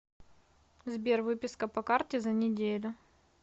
сбер выписка по карте за неделю